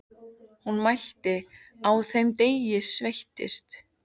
Hún mælti: Á þeim degi sveittist